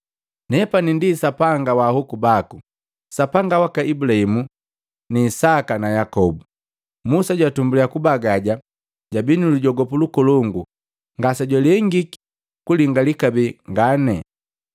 ‘Nepani ndi na Sapanga wa ahoku baku, Sapanga waka Ibulahimu ni Isaka na Yakobu!’ Musa jwatumbuliya kubagaja jabii nu lujogopu lukolongu ngase jwalengiki kulingali kabee ngane.